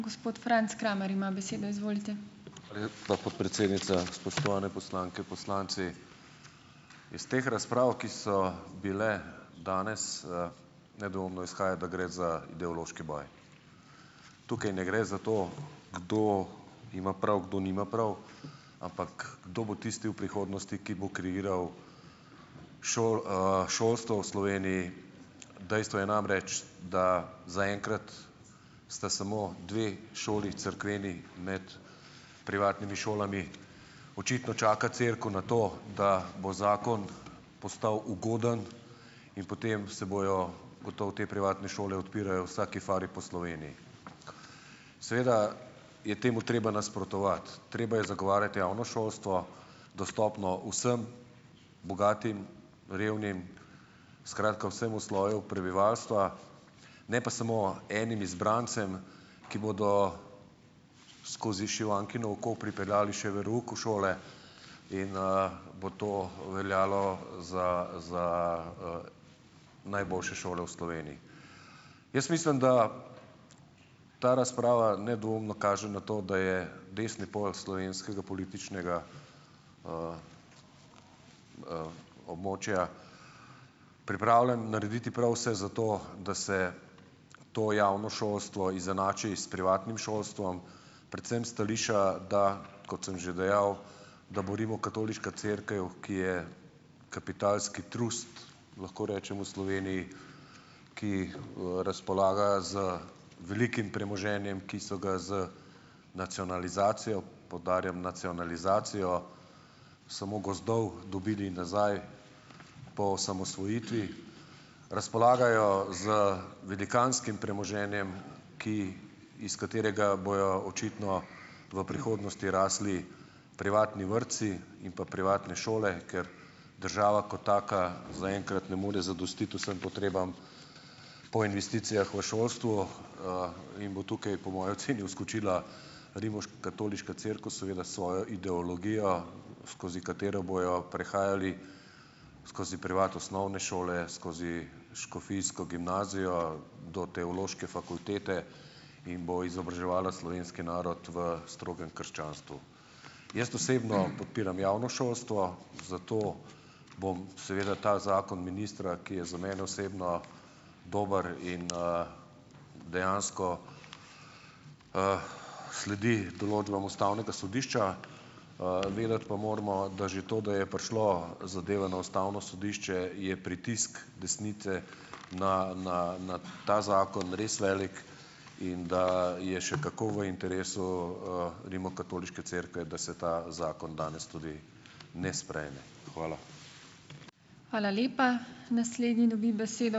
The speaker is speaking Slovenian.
Hvala lepa, podpredsednica. Spoštovane poslanke in poslanci. Iz teh razprav, ki so bile danes, nedvoumno izhaja, da gre za ideološki boj. Tukaj ne gre za to, kdo ima prav, kdo nima prav, ampak kdo bo tisti v prihodnosti, ki bo kreiral šolstvo v Sloveniji. Dejstvo je namreč, da zaenkrat sta samo dve šoli cerkveni med privatnimi šolami. Očitno čaka cerkev na to, da bo zakon postavi ugoden in potem se bojo gotovo te privatne šole odpirajo vsaki fari po Sloveniji. Seveda je temu treba nasprotovati. Treba je zagovarjati javno šolstvo, dostopno vsem, bogatim, revnim, skratka, vsemu sloju prebivalstva, ne pa samo enim izbrancem, ki bodo skozi šivankino oko pripeljali še verouk v šole in, bo to veljalo za, za, najboljše šole v Sloveniji. Jaz mislim, da ta razprava nedvoumno kaže na to, da je desni pol slovenskega političnega, območja pripravljen narediti prav vse za to, da se to javno šolstvo izenači s privatnim šolstvom, predvsem stališča, da, kot sem že dejal, da bo Rimokatoliška cerkev, ki je kapitalski trust, lahko rečemo v Sloveniji, ki jih, razpolaga z velikim premoženjem, ki so ga z nacionalizacijo, poudarjam, nacionalizacijo samo gozdov dobili nazaj po osamosvojitvi . Razpolagajo z velikanskim premoženjem, ki, iz katerega bojo očitno v prihodnosti rasli privatni vrtci in pa privatne šole, ker država kot taka zaenkrat ne more zadostiti vsem potrebam po investicijah v šolstvu, in bo tukaj, po moji oceni, vskočila Rimokatoliška cerkev, seveda s svojo ideologijo, skozi katero bojo prehajali skozi privat osnovne šole, skozi škofijsko gimnazijo, do teološke fakultete in bo izobraževala slovenski narod v strogem krščanstvu. Jaz osebno podpiram javno šolstvo, zato bom seveda ta zakon ministra, ki je za mene osebno dober in, dejansko, sledi določbam ustavnega sodišča. pa moramo vedeti, da že to, da je prišlo zadeve na ustavno sodišče, je pritisk desnice na, na, na ta zakon res velik in, da je še kako v interesu, Rimokatoliške cerkve, da se ta zakon danes tudi ne sprejme. Hvala.